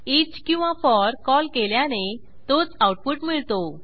each किंवा for call केल्याने तोच आऊटपुट मिळतो